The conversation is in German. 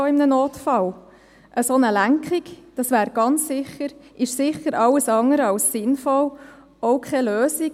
Eine solche Lenkung ist sicher alles andere als sinnvoll, auch keine Lösung.